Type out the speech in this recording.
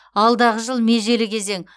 алдағы жыл межелі кезең